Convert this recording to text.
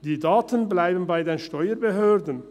Die Daten bleiben bei den Steuerbehörden.